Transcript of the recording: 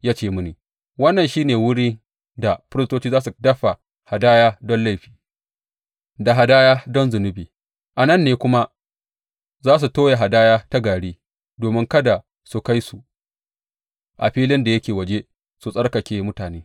Ya ce mini, Wannan shi ne wurin da firistoci za su dafa hadaya don laifi, da hadaya don zunubi, a nan ne kuma za su toya hadaya ta gari, domin kada su kai su a filin da yake waje, su tsarkake mutane.